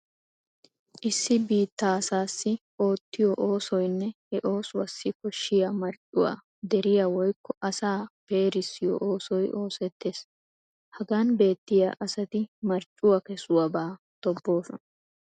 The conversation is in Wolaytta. Issi biittaa asaassi oottiyo oosoynne he oosuwassi koshshiya marccuwa deriya woykko asaa peerissiyo oosoy oosettees. Hagan beettiya asati marccuwa kesuwabaa tobboosona.